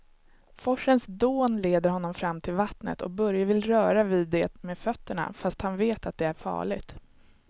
Forsens dån leder honom fram till vattnet och Börje vill röra vid det med fötterna, fast han vet att det är farligt.